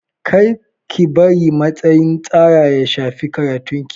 Kar ki bari matsin tsara ya shafi karatun ki.